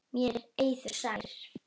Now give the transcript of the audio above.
Mér er eiður sær.